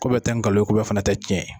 Ko bɛɛ tɛ nkalon yen, ko bɛɛ fɛnɛ tɛ tiɲɛ ye.